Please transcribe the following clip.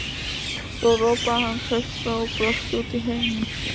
Svo ropaði hann hraustlega og brosti út í heiminn.